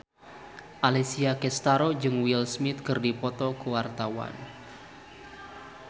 Alessia Cestaro jeung Will Smith keur dipoto ku wartawan